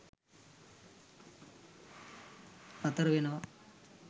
නතර වෙනවා.